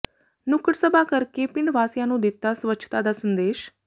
ਨੁੱਕੜ ਸਭਾ ਕਰ ਕੇ ਪਿੰਡ ਵਾਸੀਆਂ ਨੂੰ ਦਿੱਤਾ ਸਵੱਛਤਾ ਦਾ ਸੰਦੇਸ਼